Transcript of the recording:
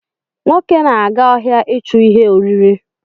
Nwoke na-aga ọhịa ichu ihe oriri